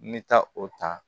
N bɛ taa o ta